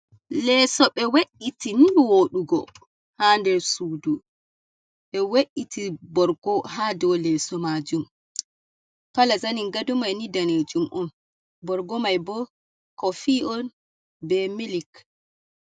Leeso ɓe we’iti nii wooɗugo, haa nder suudu. Ɓe we’iti borgo haa dow leeso maajum. Kala zanin gado mai ni daneejum on, borgo mai bo kofi on, be milik.